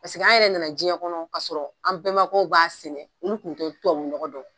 Paseke an yɛrɛ nana diɲɛ kɔnɔ kasɔrɔ an bɛnba kɛw b'a sɛnɛ olu kun tɛ tubabu nɔgɔ dɔn.